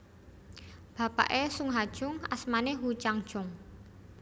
Bapaké Sung Ha Jung asmané Woo chang Jung